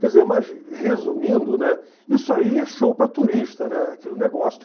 Quer dizer, mas resumindo, né, isso aí é show para turista, né, aquele negócio